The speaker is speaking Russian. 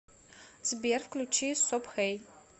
сбер включи сопхэй